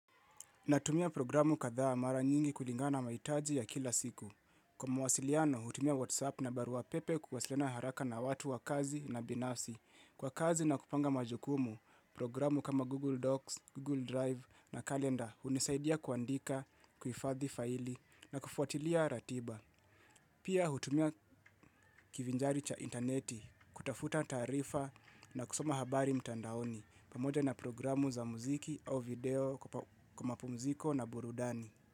Natumia programu katha mara nyingi kulingana maitaji ya kila siku. Kwa mawasiliano, hutumia WhatsApp na baruapepe kuwasiliana haraka na watu wa kazi na binafsi. Kwa kazi na kupanga majukumu, programu kama Google Docs, Google Drive na kalenda, hunisaidia kuandika, kuhifadhi faili na kufuatilia ratiba. Pia hutumia kivinjari cha interneti kutafuta tarifa na kusoma habari mtandaoni pamoja na programu za muziki au video kwa mapumziko na burudani.